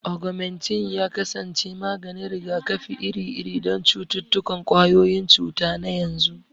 Augmentin ya kasance maganin rigakafi iri-iri don cututtukan ƙwayoyin cuta na yanzu.